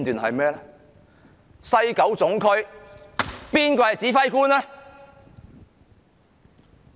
誰是西九龍總區的指揮官呢？